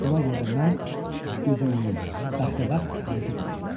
Buna görə də mən gözüyumulu, bəxtəbəxt hərəkət eləyirdim.